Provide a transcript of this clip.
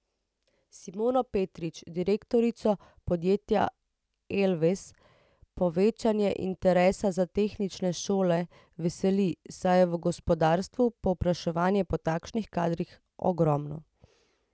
Simono Petrič, direktorico podjetja Elvez, povečanje interesa za tehnične šole veseli, saj je v gospodarstvu povpraševanje po takšnih kadrih ogromno.